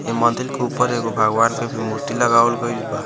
ए मंदिल के ऊपर भी एगो भगवान के मूर्ति लगावल गइल बा।